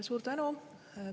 Suur tänu!